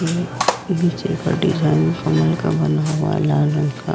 ये नीचे का डिजाइन कमल का बना हुआ है लाल रंग का।